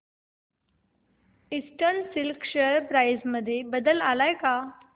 eastern Silk share price मध्ये बदल आलाय का